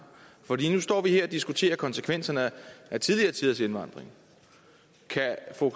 for lige nu står vi her og diskuterer konsekvenserne af tidligere tiders indvandring kan fru